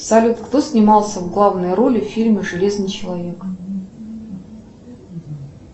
салют кто снимался в главной роли в фильме железный человек